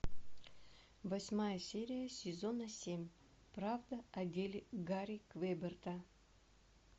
восьмая серия сезона семь правда о деле гарри квеберта